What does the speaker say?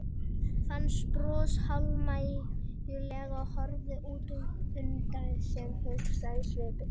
Fanný brosti hálfmæðulega og horfði út undan sér, hugsi á svip.